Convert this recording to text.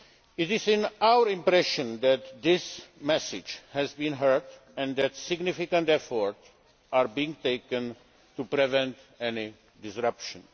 time. It is our impression that this message has been heard and that significant efforts are being taken to prevent any disruption.